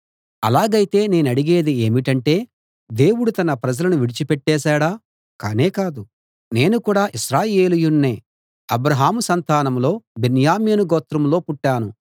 అలాగైతే నేనడిగేది ఏమిటంటే దేవుడు తన ప్రజలను విడిచి పెట్టేశాడా కానే కాదు నేను కూడా ఇశ్రాయేలీయుణ్ణే అబ్రాహాము సంతానంలో బెన్యామీను గోత్రంలో పుట్టాను